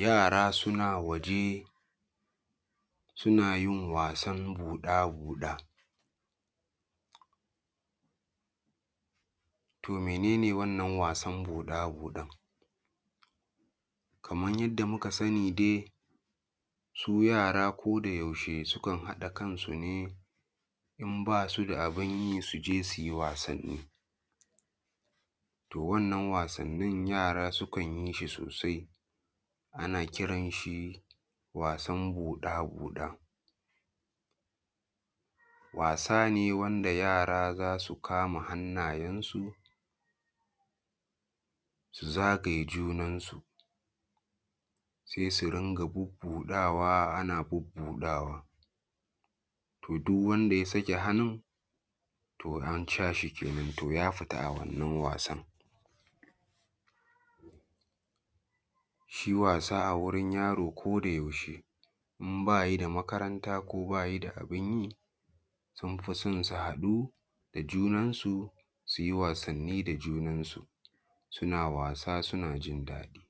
Yara suna waje suna yin wasan buɗa-buɗa, to mene ne wannan wasan buɗa-buɗan kamar yadda muka sani ne su yara ko da yaushe sukan haɗa kansu ne in ba su da abun yi su je su yi wasanni. To wannan wasannin yara sukan yi shi sosai ana kiran shi wasan buɗa-buɗa, wasa ne wanda yara za su kama hannuyensu su zagaye junansu sai su ringa bubbuɗawa ana bubbudawa. To duk wanda ya sake hannu an cire shi kenan ya fita a wannan wasan. Shi wasa a wurin yaro ko da yaushe idan ba shi da makaranta ko ba shi da abun yi sun di son su hadu da junansu su yi wasanni da junansu suna wasa suna jin daɗi.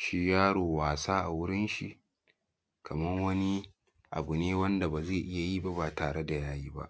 Shi yaro wasa a wurishi kamar wani abu ne wanda ba zai iya yi ba ba tare da ya yi ba.